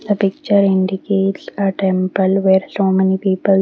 the picture indicates a temple were so many people--